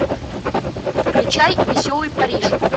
включай веселый париж